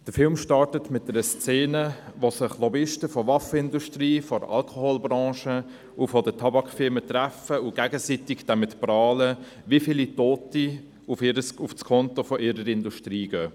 Der Film startet mit einer Szene, in der sich Lobbyisten der Waffenindustrie, der Alkoholbranche und der Tabakfirmen treffen und gegenseitig damit prahlen, wie viele Tote auf das Konto ihrer Industrie gehen.